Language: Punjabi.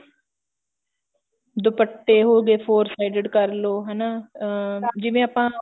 ਦੁਪੱਟੇ ਹੋ ਗਏ four sided curl ਉਹ ਹਨਾ ਅਹ ਜਿਵੇਂ ਆਪਾਂ